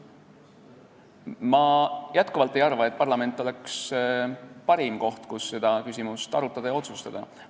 Ma jätkuvalt ei arva, et parlament oleks parim koht, kus seda küsimust arutada ja otsustada.